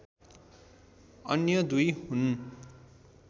अन्य दुई हुन्